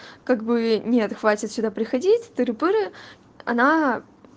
как бы нет хватит сюда приходить тыры-пыры она